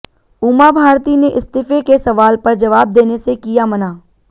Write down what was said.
उमा भारती ने इस्तीफे के सवाल पर जवाब देने से किया मना